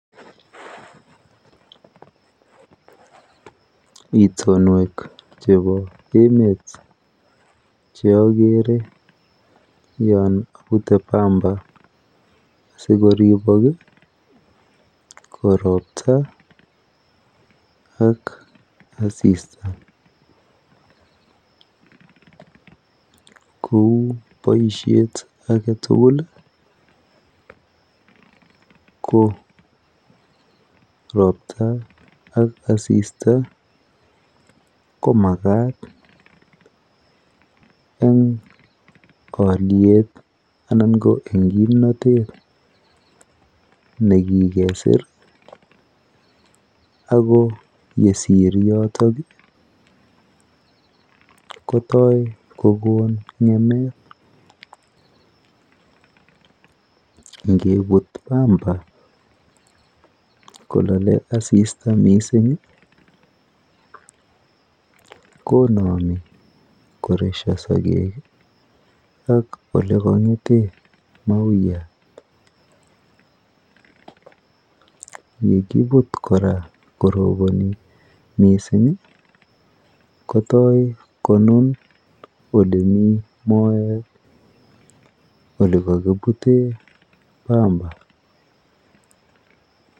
Itionwek chepo emet che agere yon apute pamba asikoripok ko ropta ak asista kou boisiet agetugul ko ropta ak asista komakat eng' kaalyet anan ko eng' kimnatet nekikesor ago yesir yotok kotoi kogon ng'emet ngiput pamba kolale asista mising' Konami koresha sogek ak ole kang'ete mauyat ngokiput koraa koroponi mising' kotoy konun ole mii moet ole kipute pamba.